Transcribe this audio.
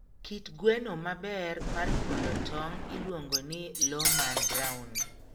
Kit gweno maber mar nyuolo tong'o iluongo ni Lohmann Brown.